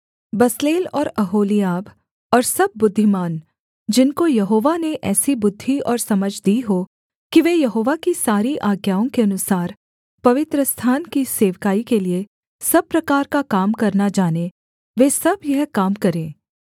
Bezalel और Oholiab और सब बुद्धिमान जिनको यहोवा ने ऐसी बुद्धि और समझ दी हो कि वे यहोवा की सारी आज्ञाओं के अनुसार पवित्रस्थान की सेवकाई के लिये सब प्रकार का काम करना जानें वे सब यह काम करें